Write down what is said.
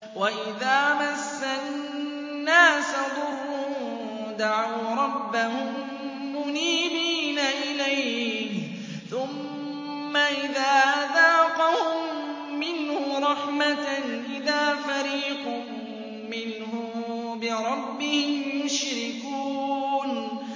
وَإِذَا مَسَّ النَّاسَ ضُرٌّ دَعَوْا رَبَّهُم مُّنِيبِينَ إِلَيْهِ ثُمَّ إِذَا أَذَاقَهُم مِّنْهُ رَحْمَةً إِذَا فَرِيقٌ مِّنْهُم بِرَبِّهِمْ يُشْرِكُونَ